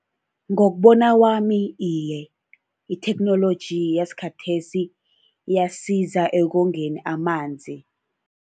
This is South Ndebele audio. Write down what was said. Ngokubona kwami, iye. Itheknoloji yakhathesi iyasiza ekongeni amanzi.